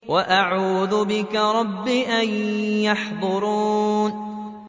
وَأَعُوذُ بِكَ رَبِّ أَن يَحْضُرُونِ